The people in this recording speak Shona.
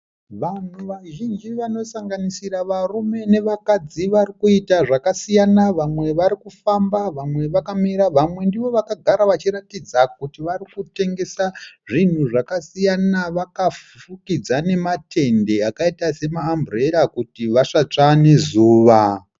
Vanhu vazhinji vanosanganisira varume nevakadzi varikuita zvakasiyana. Vamwe varikufamba, vamwe vakamira ,vamwe ndivo vakagara vachiratidza kuti varikutengesa zvinhu zvakasiyana . Vakafukidza nema tende akaita sema amburera kuti vasatsva nezuva.